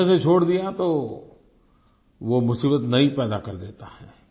बीच में से छोड़ दिया तो वो मुसीबत नई पैदा कर देता है